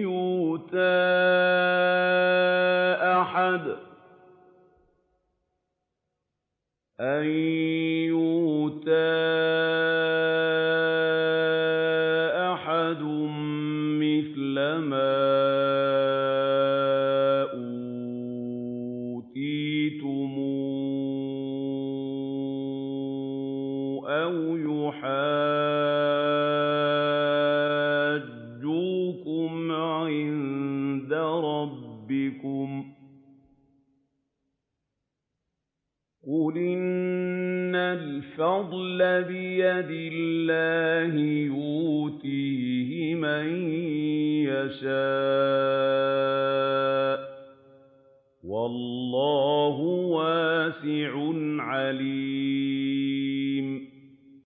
يُؤْتَىٰ أَحَدٌ مِّثْلَ مَا أُوتِيتُمْ أَوْ يُحَاجُّوكُمْ عِندَ رَبِّكُمْ ۗ قُلْ إِنَّ الْفَضْلَ بِيَدِ اللَّهِ يُؤْتِيهِ مَن يَشَاءُ ۗ وَاللَّهُ وَاسِعٌ عَلِيمٌ